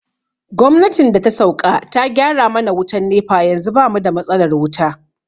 Gwamnatin da ta sauƙa ta gyara mana wutan NEPA yanzu bamu da matsalar wuta